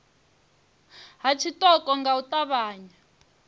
ha tshiṱoko nga u ṱavhanya